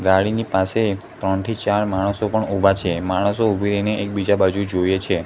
ગાડીની પાસે ત્રણથી ચાર માણસો પણ ઉભા છે માણસો ઉભી રહી ને એકબીજા બાજુ જોયે છે.